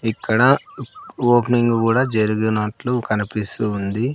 ఇక్కడ ఓపెనింగ్ కూడా జరిగినట్లు కనిపిస్తూ ఉంది.